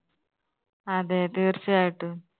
അതെ, തീർച്ചയായിട്ടും